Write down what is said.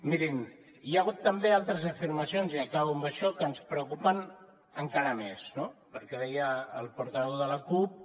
mirin hi ha hagut també altres afirmacions i acabo amb això que ens preocupen encara més no perquè deia el portaveu de la cup